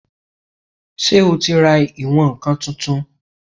Ṣé o ti ra ìwọ̀n-ǹkan tuntun?